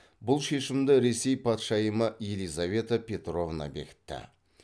бұл шешімді ресей патшайымы елизавета петровна бекітті